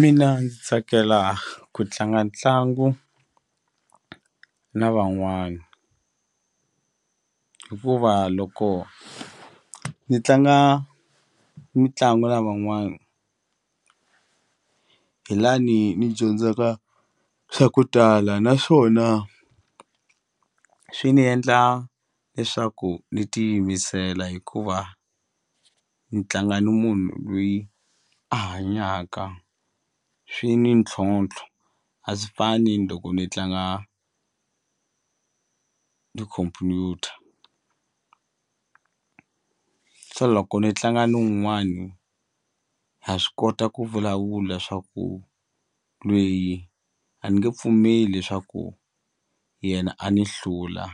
Mina ni tsakela ku tlanga ntlangu na van'wana hikuva loko ni tlanga mitlangu na van'wana hi lani ni dyondzaka swa ku tala naswona swi ni endla leswaku ni ti yimisela hikuva ni tlanga ni munhu lweyi a hanyaka swi ni ntlhontlho a swi fani loko ni tlanga ni computer se loko ni tlanga ni wun'wani ha swi kota ku vulavula swa ku lweyi a ni nge pfumeli leswaku yena a ni hlula